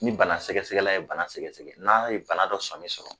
Ni bana sɛgɛsɛgɛla ye bana sɛgɛsɛgɛ n'a ye bana ka sɔmin sɔrɔ